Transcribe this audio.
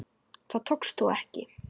Það tókst þó ekki.